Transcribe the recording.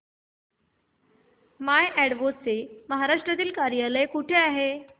माय Advo चे महाराष्ट्रातील कार्यालय कुठे आहे